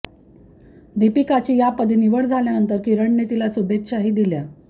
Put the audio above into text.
दीपिकाची या पदी निवड झाल्यानंतर किरणने तिला शुभेच्छाही दिल्या